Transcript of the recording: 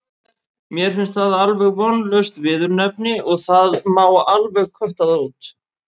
Mér finnst það alveg vonlaust viðurnefni og það má alveg kötta það út.